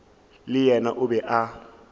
le yena o be a